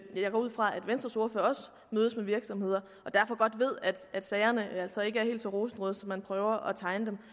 jeg går ud fra at venstres ordfører også mødes med virksomheder og derfor godt ved at sagerne altså ikke er helt så rosenrøde som man prøver at tegne dem